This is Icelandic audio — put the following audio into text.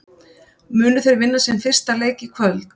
Munu þeir vinna sinn fyrsta leik í kvöld?